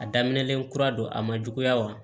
A daminɛlen kura don a ma juguya wa